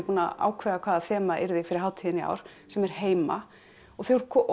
að ákveða hvaða þema yrði fyrir hátíðina í ár sem er heima og